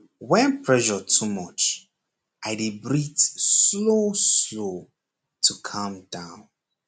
when pressure too much i dey breathe slow slow to calm down